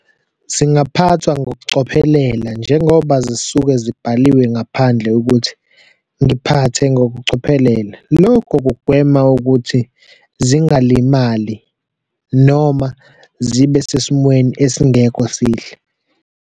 Zingaphathwa ngokucophelela njengoba zisuke zibhaliwe ngaphandle ukuthi, ngiphathe ngokucophelela. Lokhu kugwema ukuthi zingalimali noma zibe sesimweni esingekho sihle.